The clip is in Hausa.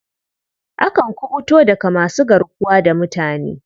Akan kuɓuto daga masu garkuwa da mutane.